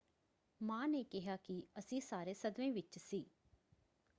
ਮਾਂ ਨੇ ਕਿਹਾ ਕਿ ਅਸੀਂ ਸਾਰੇ ਸਦਮੇ ਵਿੱਚ ਸੀ।